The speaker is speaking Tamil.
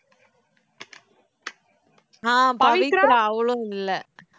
ஆஹ் பவித்ரா அவளும் இல்லை